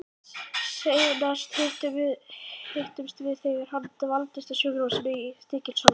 Seinast hittumst við þegar hann dvaldist á sjúkrahúsinu í Stykkishólmi.